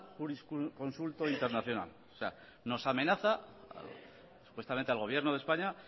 jurisconsulto internacional nos amenaza supuestamente al gobierno de españa